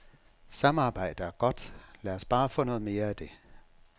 Samarbejde er godt, lad os bare få noget mere af det.